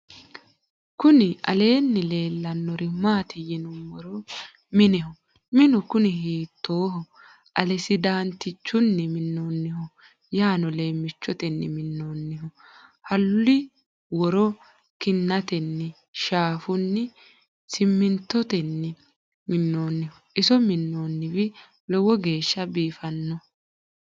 kuni aleni lelanori maati yiinumoro. miineho minu kuuni hitoho alisidantichunni minoniho yano lemichoteni minonniho halu wor kinateni shafuni simintoteni minoniho. iso minoniwi loowo geesha bifano.